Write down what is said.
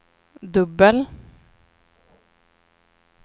dubbel